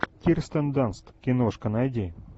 кирстен данст киношка найди